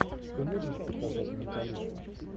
ты можешь показать менталиста